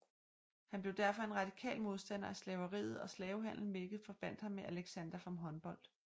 Han blev derfor en radikal modstander af slaveriet og slavehandel hvilket forbandt ham med Alexander von Humboldt